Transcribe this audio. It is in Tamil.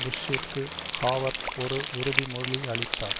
புஷ்ஷிற்கு ஹாவர்ட் ஒரு உறுதி மொழி யளித்தார்